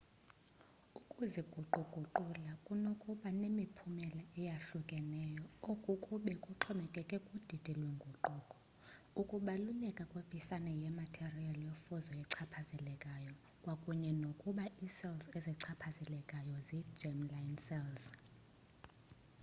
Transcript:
ukuziguquguqula kunokuba nemiphumela eyohlukahlukeneyo oku kube kuxhomekeke kudidi lwenguquko ukubaluleka kwepisana yematerial yofuzo echaphazelekayo kwakunye nokuba icells ezichaphazelekileyo zi germ-line cells